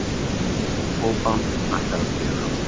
Kókó-band ætlar að spila.